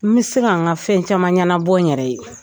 N bɛ se ka n ka fɛn caman ɲɛnabɔ n yɛrɛ ye